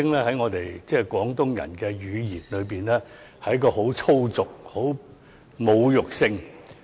在我們廣東人的語言中，這名稱十分粗俗，亦具侮辱性。